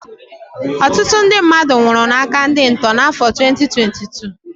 Ọtụtụ ndị mmadụ nwụrụ n'áká ndị ntọ n'afọ 2022